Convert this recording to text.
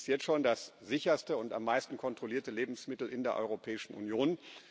Es ist jetzt schon das sicherste und am meisten kontrollierte Lebensmittel in der Europäischen Union.